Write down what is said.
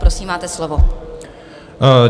Prosím, máte slovo.